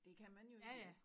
Det kan man jo ikke vide